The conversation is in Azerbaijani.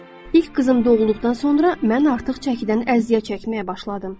İlk qızım doğulduqdan sonra mən artıq çəkidən əziyyət çəkməyə başladım.